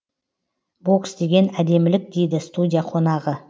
бокс деген әдемілік дейді студия қонағы